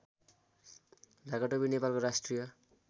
ढाकाटोपी नेपालको राष्ट्रिय